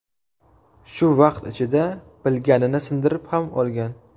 Shu vaqt ichida bilagini sindirib ham olgan.